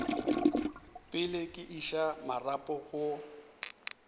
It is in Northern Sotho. pele ke iša marapo go